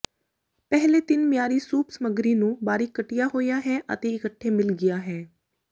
ਪਹਿਲੇ ਤਿੰਨ ਮਿਆਰੀ ਸੂਪ ਸਮੱਗਰੀ ਨੂੰ ਬਾਰੀਕ ਕੱਟਿਆ ਹੋਇਆ ਹੈ ਅਤੇ ਇੱਕਠੇ ਮਿਲ ਗਿਆ ਹੈ